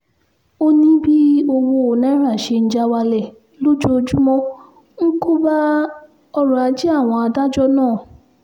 ó ní bí owó náírà ṣe ń já wálẹ̀ lójoojúmọ́ ń kó bá ọ̀rọ̀ ajé àwọn adájọ́ náà